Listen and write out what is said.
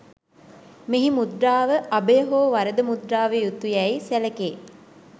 මෙහි මුද්‍රාව අභය හෝ වරද මුද්‍රාව යුතුªයැයි සැලකේ